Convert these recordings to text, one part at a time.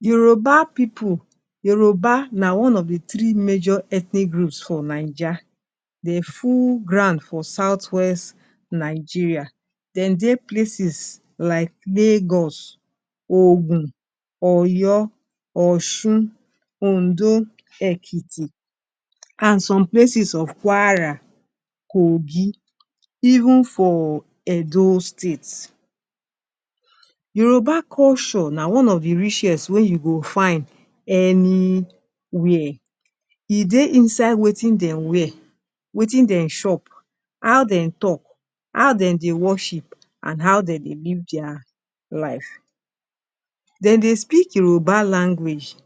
Yoruba pipu, Yoruba na one of d three major ethnic groups for Naija, dem full ground for southwest Nigeria, dem dey places like Lagos, Ogun, Oyo, Osun, Ondo, Ekiti, and some places of Kwara, Kogi, even for Edo states. Yoruba culture na one of d richest wey you go find anywhere. e dey inside wetin dem wear, Wetin dem chop, how dem talk, how dem dey worship, and how dem dey live der life. Dem dey speak Yoruba language.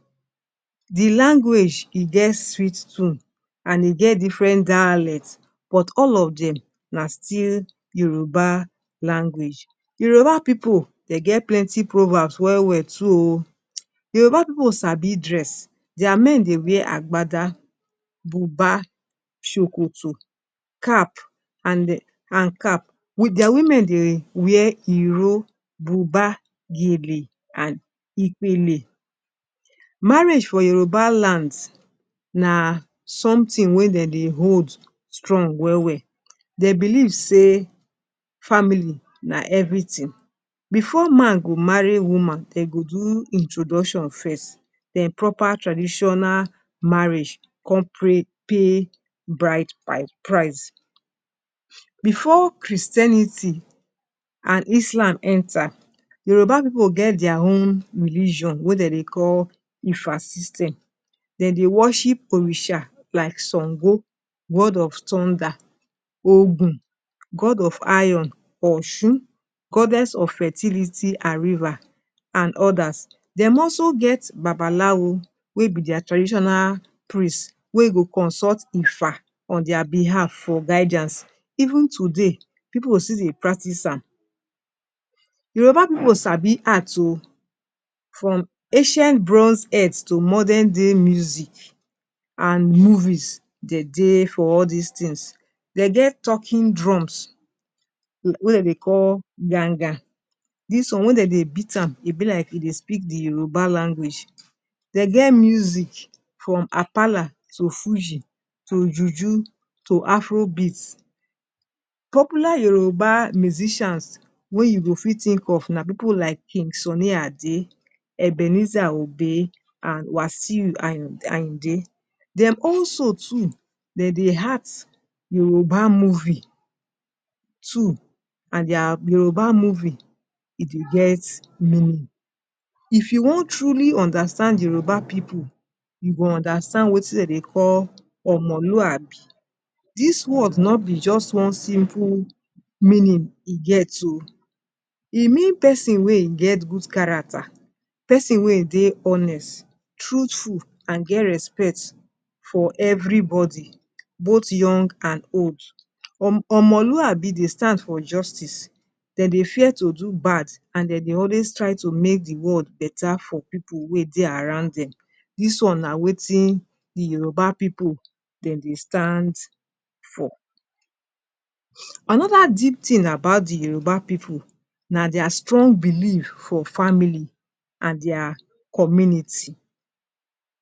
D language he get sweet tone and e get different dialects, but all of dem na still Yoruba language. Yoruba people dem get plenty proverbs well well to o. Yoruba people sabi dress. dir men dey wear agbada buba, shokoto cap and eh cap. Dem women dey wear iro, buba, gele, and Epele. Marriage for Yoruba lands na something wey dey hold strong well well. Dem believe sey family na everything. Before man go marry woman dem go do introduction first den proper traditional marriage come pra pay bride price. Before Christianity and Islam enter, Yoruba pipu get their own religon wey dem dey call Ifa system. Dem dey worship orisa like Sango, god of thunder, Ogun god of iron, Osun goddess of fertility and river and others. Dem also get babalawo wey be dir traditional priests, wey go consult Ifa on dir behalf for guidance. Even today, people go still Dey practice am. Yoruba people Sabi act o, from ancient bronze earth to modern day music and movies, dem dey for all dis things. Dem get talking drums, wey dem dey call ganga. This one, when dey beat am, e be like e dey speak d Yoruba language. Dem get music from Apala to Fuji to Juju to Afrobeats. Popular Yoruba musicians, wey you go fit think of na people like King Sunny Ade, Ebenezer Obey, and Wasiu Ayinde, dem too also dem dey act Yoruba movie too, and dir Yoruba movie, e dey get meaning. If you won truly understand Yoruba people you will understand wetin dem dey call Omoluabi. The word no bi just one simple meaning hin get oh, e mean pesin wey hin get good character, pesin wey hin dey honest, truthful and get respect for everybody both young and old. Omo Omoluabi dey stand for justice, dem dey fear to do bad and dem dey always try to make the world beta for pipu wey dey around dem. Dis one na wetin d Yoruba people dem dey stand for. Anodr deep thing about d Yoruba people, na dir strong belief for family and dir community.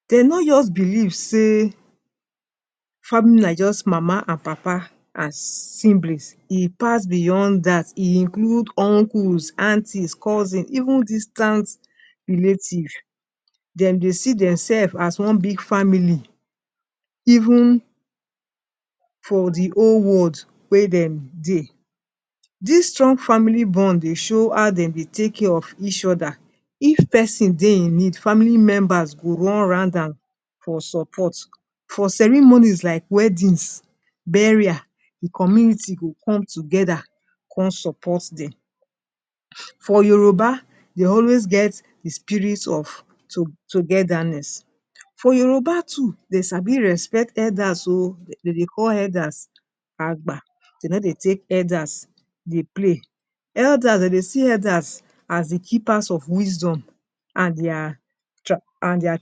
Dem no just believe say family na just mama and papa and siblings. E pass beyond that eh include uncles, aunties, cousins, even distant relatives dem dey see themselves as one big family even for the whole world wey dem dey. This strong family bond dey show how dem dey take care of each other, if pesin dey in need family members go run round am for support. For ceremonies like weddings, burial, the community go come together come support them. For Yoruba dey always get the spirit of togetherness. For Yoruba too, dem Sabi respect elders o dem dey call elders Agba, dem no dey take elders dey play. Elders, dem dey see elders as d keepers of wisdom and dir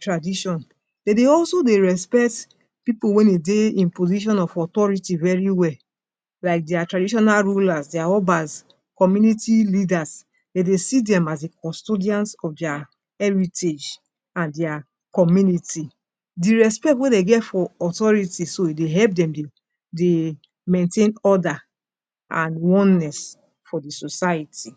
tradition. Dem dey also dey respect people wey wen hin dey the position of authority very well, like dir traditional rulers, dir Obas, community leaders, dem dey see dem as d custodians of dir heritage And dir community. d respect wey dem get for authority so e dey help dem dey maintain order and oneness for dir society.